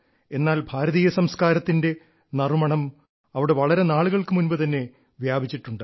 എന്നാൽ ഭാരതീയ സംസ്കാരത്തിന്റെ നറുമണം അവിടെ വളരെ നാളുകൾക്ക് മുൻപ് തന്നെ വ്യാപിച്ചിട്ടുണ്ട്